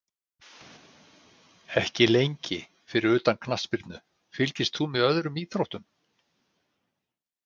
Ekki lengi Fyrir utan knattspyrnu, fylgist þú með öðrum íþróttum?